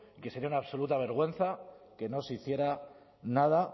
que sería una absoluta vergüenza que no se hiciera nada